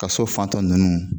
Ka so fantɔ nunnu.